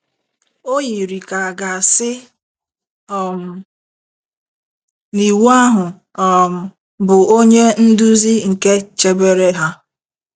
O yiri ka à ga - asị um na Iwu ahụ um bụ onye nduzi nke chebere ha.